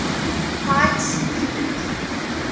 pikes peak